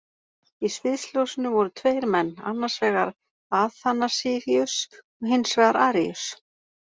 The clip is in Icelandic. Í sviðsljósinu voru tveir menn, annars vegar Aþanasíus og hins vegar Aríus.